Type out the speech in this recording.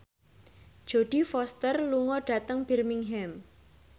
Jodie Foster lunga dhateng Birmingham